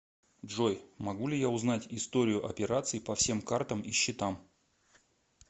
джой могу ли я узнать историю операций по всем картам и счетам